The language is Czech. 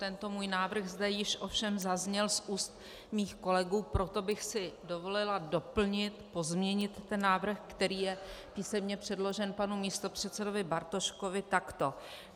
Tento můj návrh zde již ovšem zazněl z úst mých kolegů, proto bych si dovolila doplnit, pozměnit ten návrh, který je písemně předložen panu místopředsedovi Bartoškovi, takto.